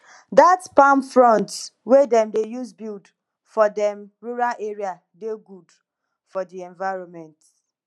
dat palm fronds wey dem dey use build for dem rural area dey good for di environment